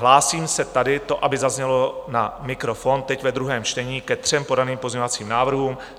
Hlásím se tady, to aby zaznělo na mikrofon, teď ve druhém čtení ke třem podaným pozměňovacím návrhům.